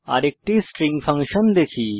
আরেকটি string function দেখি